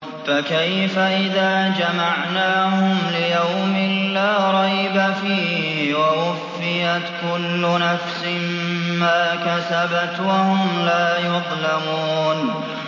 فَكَيْفَ إِذَا جَمَعْنَاهُمْ لِيَوْمٍ لَّا رَيْبَ فِيهِ وَوُفِّيَتْ كُلُّ نَفْسٍ مَّا كَسَبَتْ وَهُمْ لَا يُظْلَمُونَ